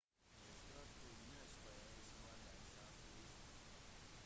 de står på unescos verdensarvliste